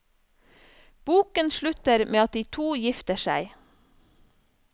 Boken slutter med at de to gifter seg.